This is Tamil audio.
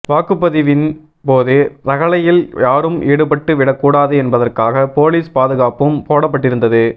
வாக்குப்பதிவின் போது ரகளையில் யாரும் ஈடுபட்டு விடக் கூடாது என்பதற்காக போலீஸ் பாதுகாப்பும் போடப்பட்டிருந்தது